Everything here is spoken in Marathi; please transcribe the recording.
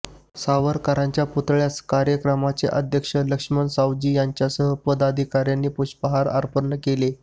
सावरकरांच्या पुतळ्यास कार्यक्रमाचे अध्यक्ष लक्ष्मण सावजी यांसह पदाधिकाऱ्यांनी पुष्पहार अर्पण केला